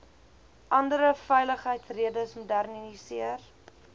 andere veiligheidsredes modernisering